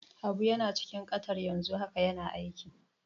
Habu yana cikin Qatar yanzu haka yana aiki.